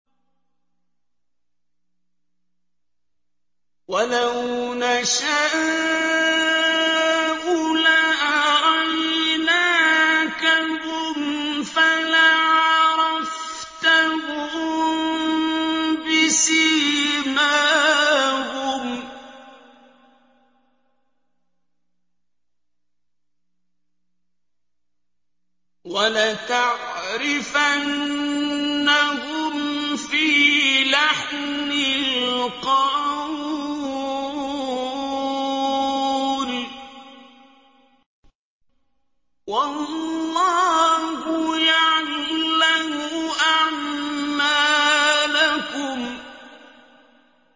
وَلَوْ نَشَاءُ لَأَرَيْنَاكَهُمْ فَلَعَرَفْتَهُم بِسِيمَاهُمْ ۚ وَلَتَعْرِفَنَّهُمْ فِي لَحْنِ الْقَوْلِ ۚ وَاللَّهُ يَعْلَمُ أَعْمَالَكُمْ